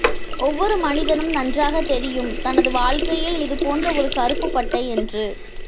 ஒவ்வொரு மனிதனும் நன்றாக தெரியும் தனது வாழ்க்கையில் இது போன்ற ஒரு கருப்பு பட்டை என்று